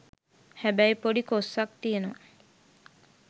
හැබැයි පොඩි කොස්සක් තියනවා.